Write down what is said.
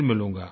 फिर मिलूँगा